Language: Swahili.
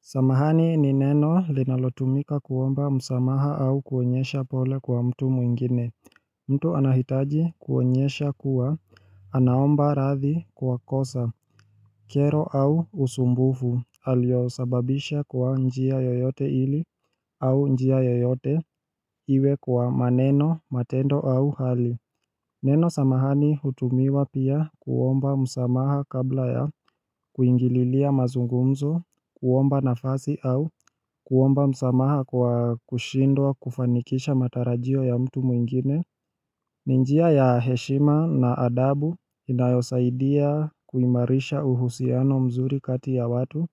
Samahani ni neno linalotumika kuomba msamaha au kuonyesha pole kwa mtu mwingine mtu anahitaji kuonyesha kuwa anaomba radhi kwa kosa kero au usumbufu aliyosababisha kwa njia yoyote ili au njia yoyote iwe kwa maneno, matendo au hali Neno samahani hutumiwa pia kuomba msamaha kabla ya kuingililia mazungumzo, kuomba nafasi au kuomba msamaha kwa kushindwa kufanikisha matarajio ya mtu mwingine ni njia ya heshima na adabu inayosaidia kuimarisha uhusiano mzuri kati ya watu